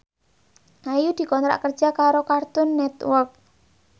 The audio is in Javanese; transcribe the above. Ayu dikontrak kerja karo Cartoon Network